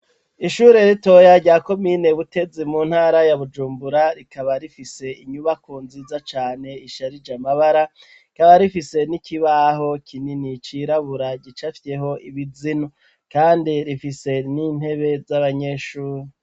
Ishure ritoya rya komine Butezi mu ntara ya Bujumbura, rikaba rifise inyubako nziza cane isharije amabara, rikaba rifise n'ikibaho kinini cirabura gicafyeho ibizinu, kandi rifise n'intebe z'abanyeshure.